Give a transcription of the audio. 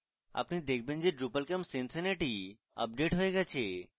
আপনি দেখবেন যে drupalcamp cincinnati আপডেট হয়ে গেছে